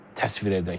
Təsvir edək.